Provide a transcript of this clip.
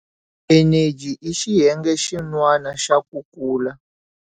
Eneji i xiyenge xin'wana xa ku kula.